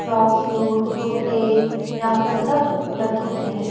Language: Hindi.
फ्राक सूट कुर्ते यहाँ पर सब उपलब्ध होते हैं।